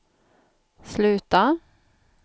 sluta